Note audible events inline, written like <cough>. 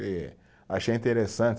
<unintelligible> achei interessante.